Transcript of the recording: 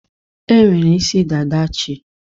E nwere isi dada chi.